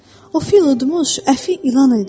O, fil udmuş əfi ilan idi.